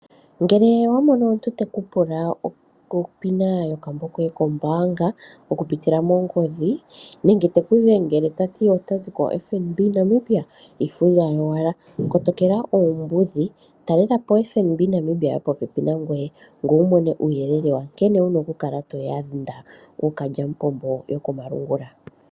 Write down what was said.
Ngele owa mono omuntu teku pula onomola yomagameno yombaanga okupitila mongodhi nenge teku dhengele ongodhi tati otazi kombaanga yoFNB, iifundja yowala kotokela oombudhi, onkee talela po FNB yopopepi nangoye ngoye wutseye nkene toyanda ookaly'apombo yokomalungula.